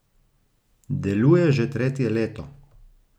Deluje že tretje leto.